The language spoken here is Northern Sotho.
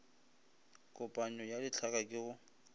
kopanyo ya ditlhaka ke go